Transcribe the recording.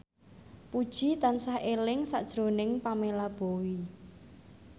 Puji tansah eling sakjroning Pamela Bowie